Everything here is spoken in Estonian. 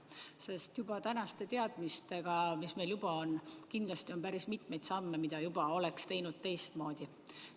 Sest tänaste teadmistega, mis meil nüüd on, on kindlasti päris mitmeid samme, mida oleksite teinud teistmoodi.